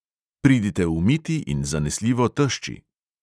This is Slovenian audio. Pridite umiti in zanesljivo tešči.